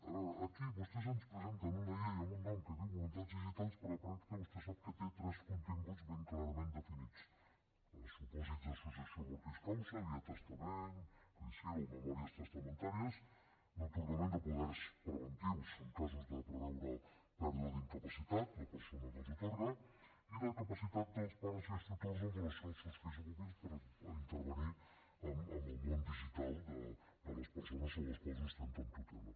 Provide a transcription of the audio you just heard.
a veure aquí vostès ens presenten una llei amb un nom que diu voluntats digitals però a la pràctica vostè sap que té tres continguts ben clarament definits els supòsits de successió mortis causa via testament codicil o memòries testamentàries d’atorgament de poders preventius en casos de preveure pèrdua de capacitat la persona que els atorga i de capacitat dels pares i els tutors amb relació als seus fills o pupils per intervenir en el món digital de les persones sobre les quals ostenten tutela